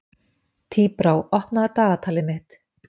Tíbrá, opnaðu dagatalið mitt.